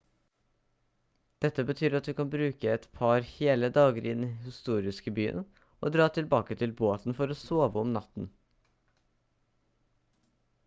dette betyr at du kan bruke et par hele dager i den historiske byen og dra tilbake til båten for å sove om natten